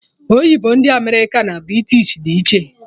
Oyibo ndị America na British dị iche